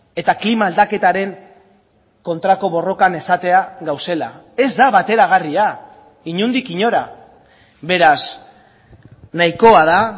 eta klima aldaketaren kontrako borrokan esatea gaudela ez da bateragarria inondik inora beraz nahikoa da